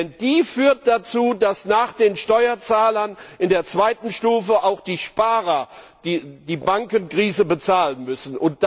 Denn die führt dazu, dass nach den Steuerzahlern in der zweiten Stufe auch die Sparer die Bankenkrise bezahlen müssen.